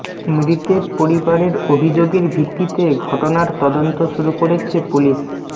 মৃতের পরিবারের অভিযোগের ভিত্তিতে ঘটনার তদন্ত শুরু করেছে পুলিশ